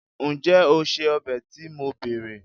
njé o se obe to mo bere